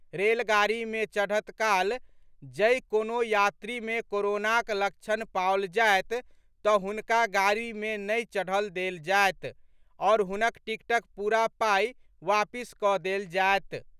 रेलगाड़ी मे चढ़त काल जै कोनो यात्री में कोरोनाक लक्षण पाओल जायत तऽ हुनका गाड़ी मे नहि चढ़ल देल जायत आओर हुनक टिकटक पूरा पाई वापिस कऽ देल जायत।